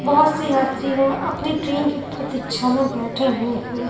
बहोत से यात्री है अपनी ट्रेन की प्रतीक्षा में बैठे हुए हैं।